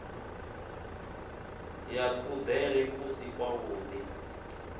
ya kuḽele ku si kwavhuḓi